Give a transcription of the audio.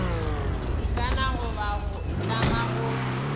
ikana goba go itlama go